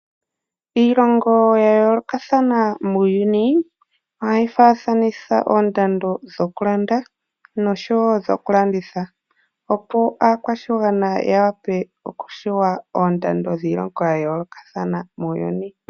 Iilongo yayoolokathana muuyuni ohayi faathanitha oondando dhokulanda noshowoo dhokulanditha opo aakwashigwana yawape okutseya oondando dhomiilongo yayoolokathana muuyuni.